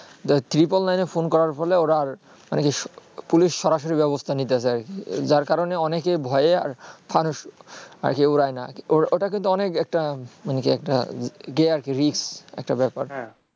যা triple nine এ phone করার ফলে আর মানে কি police সরাসরি ব্যবস্থা নিতে যার কারণে অনেকে ভয়ে আর ফানুস আর কেউ উড়ায়ে না ওটা ওটা কিন্তু অনেক একটা মানে অনেকি একটা আর কি risk একটা ব্যাপার